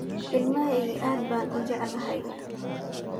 Ilmaheyki caad baa ni jeclahy.